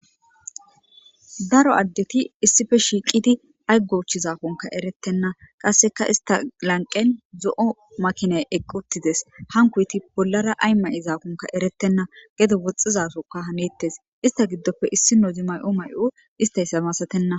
daro addeti issife shiiqidi ay gouch zaafonka eretenna qasseka ista lanqen zo7o makiney eqquttides hankuyti bollara ay ma7izaafonka erettenna gedo woxxizasokka haneettes ista giddopfe issi nodi may7o may7o istaysamasatenna